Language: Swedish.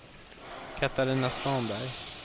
Catarina Svanberg